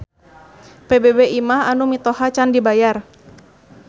PBB imah anu mitoha can dibayar